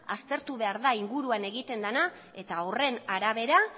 aztertu egin behar da inguruan egiten dena eta horren arabera